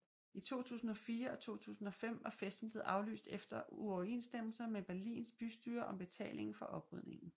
I 2004 og 2005 var festen blevet aflyst efter uoverensstemmelser med Berlins bystyre om betalingen for oprydningen